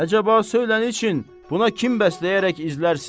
Əcaba söylə nə üçün buna kim bəsləyərək izlərsən?